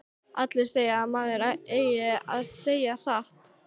Allir segja að maður eigi að segja satt.